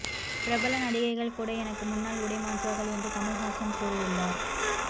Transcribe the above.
பிரபல நடிகைகள் கூட எனக்கு முன்னால் உடை மாற்றுவார்கள் என்று கமல்ஹாசன் கூறியுள்ளார்